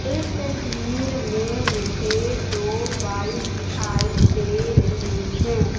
इस तस्वीर में मुझे दो बाइक दिखाई दे रही हैं।